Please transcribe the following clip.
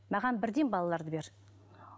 маған бірден балаларды бер